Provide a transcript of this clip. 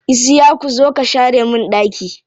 Isiyaku zo ka share min ɗaki.